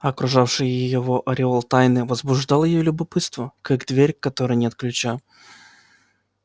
окружавший его ореол тайны возбуждал её любопытство как дверь к которой нет ключа